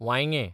वांयगें